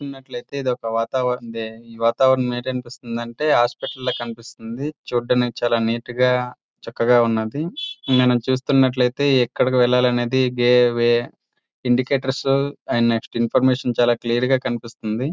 మనం చూస్తున్నట్లయితే ఇదొక వాతావరణం ఏమనిపిస్తుంది అంటే హాస్పటల్ లాగా అనిపిస్తుంది. చుట్టూ చాలా నీట్ గా చక్కగా ఉంది. మనం చూస్తున్నట్లైతే ఎక్కడికి వెళ్ళాలి అనేది way indicators and next information చాలా క్లియర్ గా కనిపిస్తుంది.